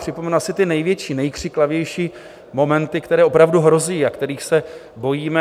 Připomenu asi ty největší, nejkřiklavější momenty, které opravdu hrozí a kterých se bojíme.